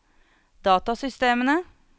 datasystemene